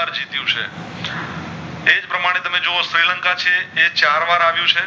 તમે જોવો શ્રીલંકા છે એ ચાર વાર હરિયું છે